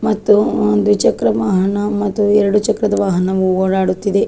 ಮತ್ತು ಒಂದು ಚಕ್ರ ವಾಹನ ಮತ್ತು ಎರಡು ಚಕ್ರದ ವಾಹನವು ಓಡಾಡುತ್ತಿದೆ.